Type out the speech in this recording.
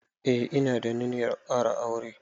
Eh ina da ninyar ƙara aure.